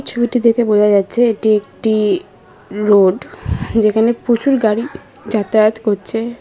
ছবিটি দেখে বোঝা যাচ্ছে এটি একটি রোড যেখানে প্রচুর গাড়ি যাতায়াত করছে।